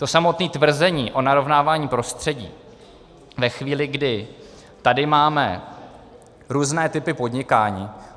To samotné tvrzení o narovnávání prostředí ve chvíli, kdy tady máme různé typy podnikání.